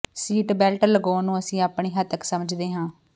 seat belt ਲਗਾਉਣ ਨੂੰ ਅਸੀਂ ਆਪਣੀ ਹੱਤਕ ਸਮਝਦੇ ਹਾਂ